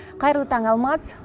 қайырлы таң алмас